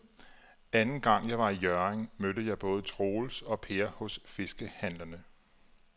Anden gang jeg var i Hjørring, mødte jeg både Troels og Per hos fiskehandlerne.